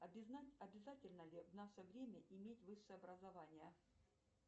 обязательно ли в наше время иметь высшее образование